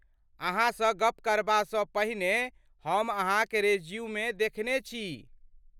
अहाँसँ गप करबासँ पहिने हम अहाँक रेज्यूमे देखने छी।